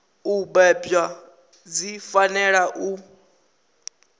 u bebwa dzi fanela u